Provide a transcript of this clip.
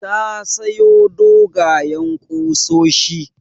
Ta sayo dogwayen ƙusoshi.